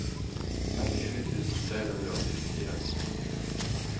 trettisju tusen tre hundre og syttifire